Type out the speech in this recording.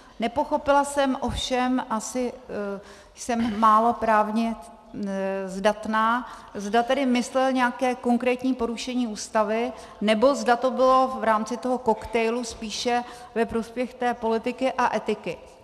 Nepochopila jsem ovšem, asi jsem málo právně zdatná, zda tedy myslel nějaké konkrétní porušení Ústavy, nebo zda to bylo v rámci toho koktejlu spíše ve prospěch politiky a etiky.